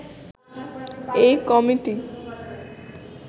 এই কমিটি